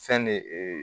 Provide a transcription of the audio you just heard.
Fɛn de